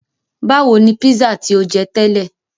Báwo ni pízà tí o jẹ tẹ́lẹ̀?